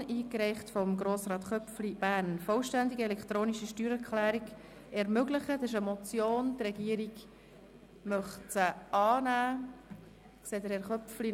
Dies ist die Motion «Vollständig elektronische Steuererklärung ermöglichen», eingereicht von Grossrat Köpfli, Bern.